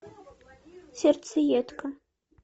сердцеедка